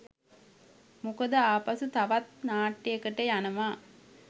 මොකද ආපසු තවත් නාට්‍යයකට යනවා